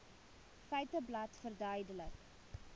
feiteblad verduidelik